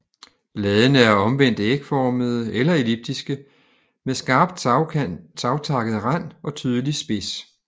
Bladene er omvendt ægformede eller elliptiske med skarpt savtakket rand og tydelig spids